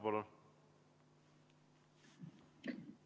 Palun!